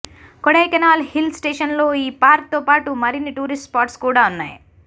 Kodaikanal hill station లో ఈ park తో పాటు మరిన్ని టూరిస్ట్ స్పాట్స్ కూడా ఉన్నాయి